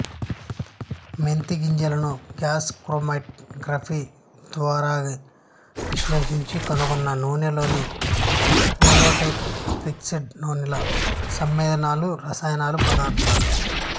మెంతిగింజల నుగ్యాస్ chromatography ద్వారావిశ్లేశించి కనుగొన్న నూనెలోని వొలటైల్ ఫిక్సెడ్ నూనెలల సమ్మేళనాలు రసాయన పదార్థాలు